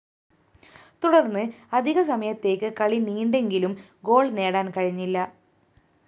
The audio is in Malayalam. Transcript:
തുടര്‍ന്ന് അധിക സമയത്തേക്ക് കളി നീണ്ടെങ്കിലും ഗോൾ നേടാന്‍ കഴിഞ്ഞില്ല